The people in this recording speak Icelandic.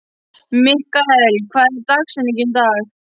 Mikkael, hver er dagsetningin í dag?